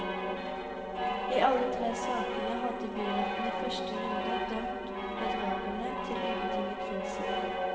I alle tre sakene hadde byretten i første runde dømt bedragerne til ubetinget fengsel.